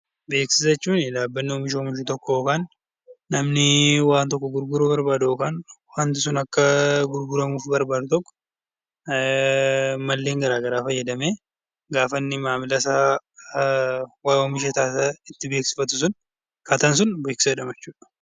Beeksisa jechuun dhaabbata oomisha oomishu tokko yookaan namni waan tokko gurguruuf barbaadu yookaan immoo waanti sun akka gurguramuuf barbaadu tokko malleen garaa garaa fayyadamee gaafa inni maamila isaa waan oomishe itti beeksifatan sun akkaataan sun beeksisa jedhama jechuudha.